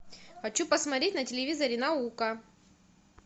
хочу посмотреть на телевизоре наука